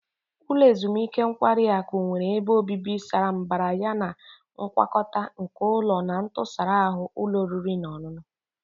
Ulo ezimuike nkwari akụ nwere ebe obibi sara mbara yana ngwakọta nke ụlọ na ntụsara ahụ ụlọ oriri na ọṅụṅụ.